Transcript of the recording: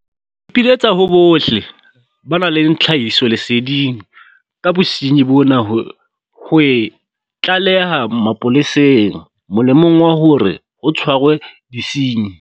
Ke ipiletsa ho bohle ba nang le tlhahisoleseding ka bosenyi bona ho e tlaleha mapoleseng molemong wa hore ho tshwarwe disenyi.